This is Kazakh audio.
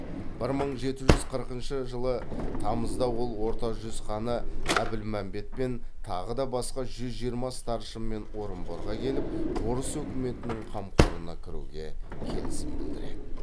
бір мың жеті жүз қырқыншы жылы тамызда ол орта жүз ханы әбілмәмбетпен тағы да басқа жүз жиырма старшынмен орынборға келіп орыс өкіметінің қамқорына кіруге келісім білдіреді